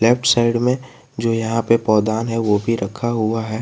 Left side मे जो यहां पे पावदान है वो भी रखा हुआ है।